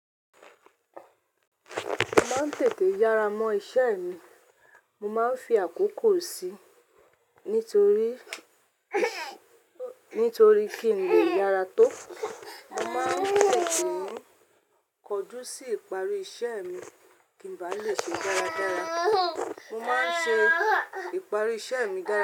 Mo máa ń tètè yára mọ́ iṣẹ́ mi, mo máa ń fi àkókò sí nítorí, nítorí kí n lè yára tó. Mo máa ń tètè kọdú sí ìparí iṣẹ́ mi kí ń bá lè ṣe dáradára. Mo máa ń ṣe ìparí iṣẹ́ mi dáradára.